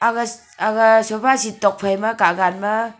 aga sofaset tuak phaima gagan ma.